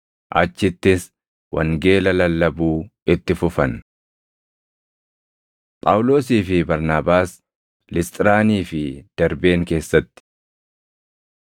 Achittis wangeela lallabuu itti fufan. Phaawulosii fi Barnaabaas Lisxiraanii fi Darbeen keessatti